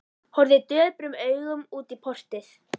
Horfði döprum augum út í portið.